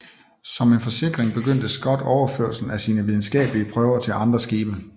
Som en forsikring begyndte Scott overførslen af sine videnskabelige prøver til andre skibe